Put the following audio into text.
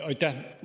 Aitäh!